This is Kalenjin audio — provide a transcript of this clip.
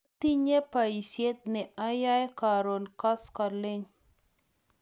atinye boisiet ne ayoe karon koskoleny